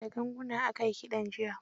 Da ganguna aka yi kiɗan jiya.